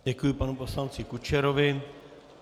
Děkuju panu poslanci Kučerovi.